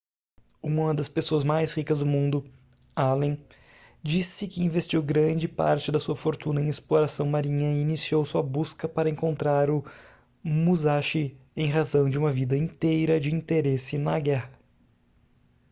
uma das pessoas mais ricas do mundo allen diz-se que investiu grande parte de sua fortuna em exploração marinha e iniciou sua busca para encontrar o musashi em razão de uma vida inteira de interesse na guerra